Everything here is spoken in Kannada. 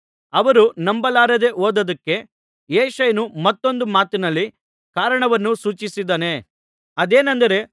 ಅವರು ನಂಬಲಾರದೇ ಹೋದುದ್ದಕ್ಕೆ ಯೆಶಾಯನು ಮತ್ತೊಂದು ಮಾತಿನಲ್ಲಿ ಕಾರಣವನ್ನು ಸೂಚಿಸಿದ್ದಾನೆ ಅದೇನೆಂದರೆ